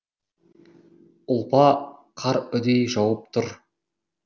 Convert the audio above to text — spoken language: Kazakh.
ұлпа қар үдей жауып тұр